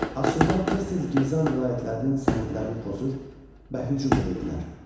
Asurlar tez-tez Gilzan vilayətlərinin sərhədlərini pozur və hücum edirdilər.